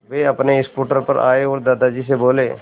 वे अपने स्कूटर पर आए और दादाजी से बोले